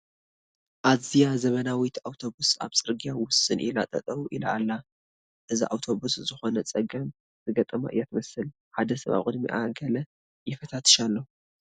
ኣዝያ ዘመናዊት ኣውቶቡስ ኣብ ፅርጊያ ውስን ኢላ ጠጠው ኢላ ኣላ፡፡ እዛ ኣውቶቡስ ዝኾነ ፀገም ዝገጠማ እያ ትመስል፡፡ ሓደ ሰብ ኣብ ቅድሚኣ ገለ ይፈታትሽ ኣሎ፡፡